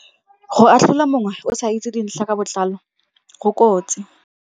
Go atlhola mongwe o sa itse dintlha ka botlalo go kotsi.